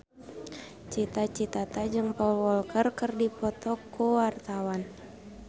Cita Citata jeung Paul Walker keur dipoto ku wartawan